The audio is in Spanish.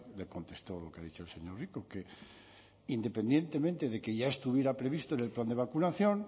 le contestó lo que ha dicho el señor rico que independientemente de que ya estuviera previsto en el plan de vacunación